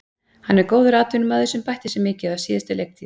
Hann er góður atvinnumaður sem bætti sig mikið á síðustu leiktíð.